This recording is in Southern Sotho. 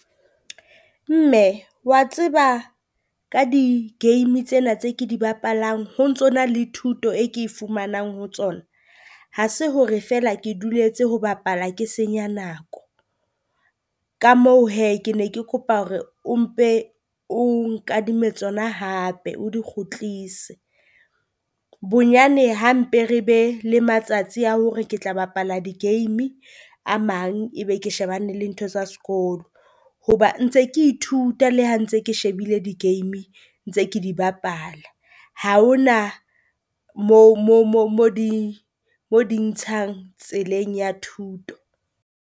Mme wa tseba ka di game tsena tse ke di bapalang ho ntso na le thuto e ke e fumanang ho tsona? Ha se hore feela ke duletse ho bapala ke senya nako, ka moo hee ke ne ke kopa hore o mpe o nkadime tsona hape o di kgutlise. Bonyane ha mpe re be le matsatsi a hore ke tla bapala di game, a mang ebe ke shebane le ntho tsa sekolo. Hoba ntse ke ithuta le ha ntse ke shebile di game ntse ke di bapala, ha ho na moo moo moo mo di mo di ntshang tseleng ya thuto.